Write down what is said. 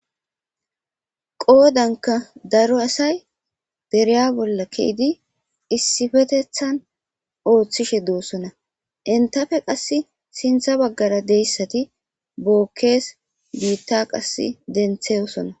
qoodanka daro asay dereya bolla keydi issifetethan ooththishe doosona entafe qas sintha baggara deyssati bookkees biitta qas dentheyosona